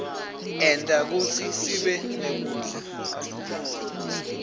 enta kutsi sibenekudla